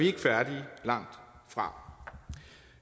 ikke færdige langtfra